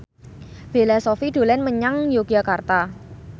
Bella Shofie dolan menyang Yogyakarta